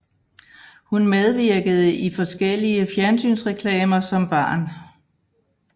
Hun medvirkede i forskellige fjernsynsreklamer som barn